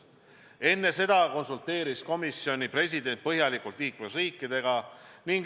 Enne seda konsulteeris komisjoni president põhjalikult liikmesriikidega.